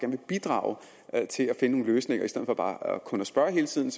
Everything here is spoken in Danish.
vil bidrage til at finde nogle løsninger i stedet for bare kun at spørge hele tiden